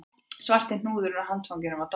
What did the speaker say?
Svarti hnúðurinn á handfanginu var dottinn af